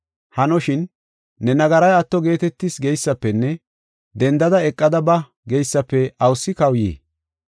Hanoshin, ‘Ne nagaray atto geetetis’ geysafenne ‘Denda eqada ba’ geysafe awusi kawuyii?